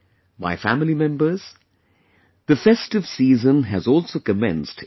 My family members, the festive season has also commenced in our country